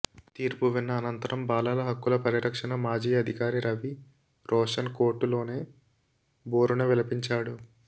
తీర్పు విన్న అనంతరం బాలల హక్కుల పరిరక్షణ మాజీ అధికారి రవి రోషన్ కోర్టులోనే బోరున విలపించాడు